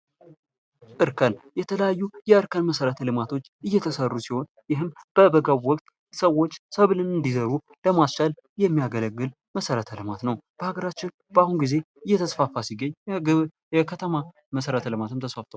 እርከን የተለያዩ የእርከን መሰረተ ልማቶች የተሰሩ ሲሆን ይህም በበጋ ወቅት ሰዎች ሰብልን እንዲዘሩ ለማስቻል የሚያገለግል መሰረተ ልማት ነው። በሀገራችን በአሁኑ ጊዜ እየተስፋፋ ሲገኝ የከተማ መሰረተ ልማትም ተስፋፍቷል።